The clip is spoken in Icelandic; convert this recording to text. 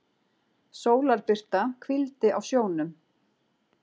Sólarbirta hvíldi á sjónum.